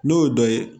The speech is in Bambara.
N'o ye dɔ ye